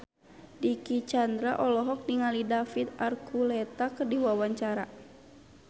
Dicky Chandra olohok ningali David Archuletta keur diwawancara